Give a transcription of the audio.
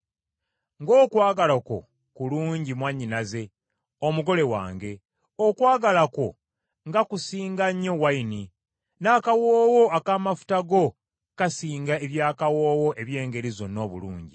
Ng’okwagala kwo kulungi mwannyinaze, omugole wange, okwagala kwo nga kusinga nnyo envinnyo, n’akawoowo ak’amafuta go kasinga eby’akawoowo eby’engeri zonna obulungi.